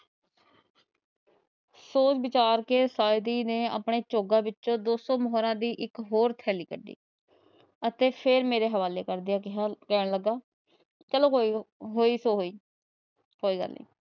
ਸੋਚ ਵਿਚਾਰ ਕੇ ਸਾਈਦੀ ਨੇ ਆਪਣੇ ਚੋਗਾ ਵਿੱਚੋ ਦੋ ਸੋ ਮੋਹਰਾ ਦੀ ਇੱਕ ਹੋਰ ਥੈਲੀ ਕੱਢੀ ਅਤੇ ਫੇਰ ਮੇਰੇ ਹਵਾਲੇ ਕਰ ਗਿਆ ਤੇ ਕਹਿਣ ਲੱਗਾ ਚੱਲੋ ਹੋਈ ਸੋ ਹੋਈ ਕੋਈ ਗੱਲ ਨੀ